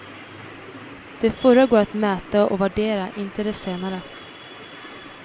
De förra går att mäta och värdera, inte de senare.